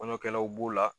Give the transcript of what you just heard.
Kɔɲɔ kɛlaw b'o la